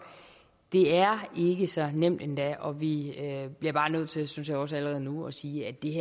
det er ikke så nemt endda og vi bliver bare nødt til det synes jeg også allerede nu at sige at det